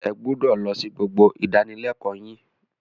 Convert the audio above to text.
Ẹ gbúdọ̀ lọ sí gbogbo ìdánilẹ́kọ̀ọ́ yín.